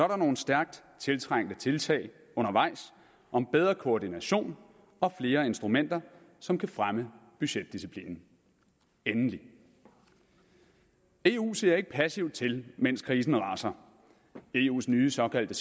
der nogle stærkt tiltrængte tiltag undervejs om bedre koordination og flere instrumenter som kan fremme budgetdisciplinen endelig eu ser ikke passivt til mens krisen raser eus nye såkaldte